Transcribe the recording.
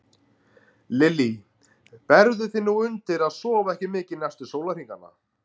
Lillý: Býrðu þig nú undir að sofa ekki mikið næstu sólarhringana?